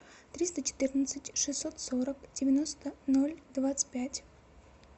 триста четырнадцать шестьсот сорок девяносто ноль двадцать пять